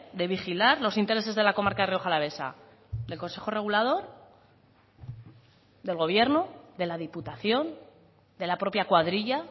de vigilar los intereses de la comarca rioja alavesa del consejo regulador del gobierno de la diputación de la propia cuadrilla